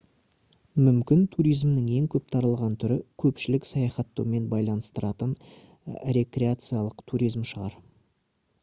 мүмкін туризмнің ең көп таралған түрі көпшілік саяхаттаумен байланыстыратын рекреациялық туризм шығар